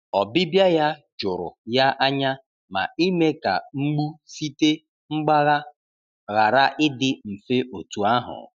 Ọbịbịa ya jụrụ ya anya, ma ime ka mgbu site mgbagha ghara ịdị mfe otu ahụ.